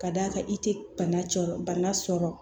Ka d'a kan i te bana cɔ bana sɔrɔ